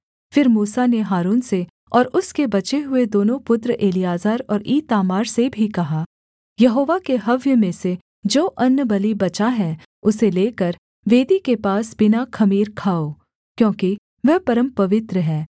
फिर मूसा ने हारून से और उसके बचे हुए दोनों पुत्र एलीआजर और ईतामार से भी कहा यहोवा के हव्य में से जो अन्नबलि बचा है उसे लेकर वेदी के पास बिना ख़मीर खाओ क्योंकि वह परमपवित्र है